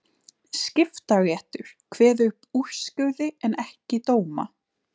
Skiptaréttur kveður upp úrskurði en ekki dóma.